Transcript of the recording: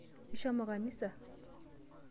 Ishomo kanisa?